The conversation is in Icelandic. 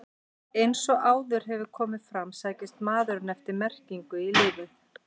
Eins og áður hefur komið fram sækist maðurinn eftir merkingu í lífið.